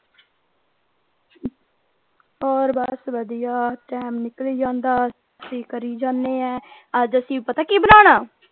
ਹੋਰ ਬਸ ਵਧੀਆ ਟਾਈਮ ਨਿਕਲੀ ਜਾਂਦਾ ਕਰੀ ਜਾਣੇ ਆ ਅੱਜ ਅਸੀਂ ਪਤਾ ਕਿ ਬਣਾਉਣਾ?